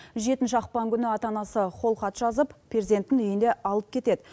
жетінші ақпан күні ата анасы қолхат жазып перзентін үйіне алып кетеді